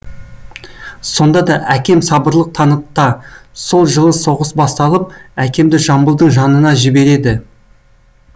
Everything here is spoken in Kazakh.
сонда да әкем сабырлық танытта сол жылы соғыс басталып әкемді жамбылдың жанына жібереді